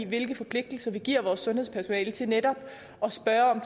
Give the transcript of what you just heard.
hvilke forpligtelser vi giver vores sundhedspersonale til netop at spørge